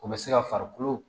O bɛ se ka farikolo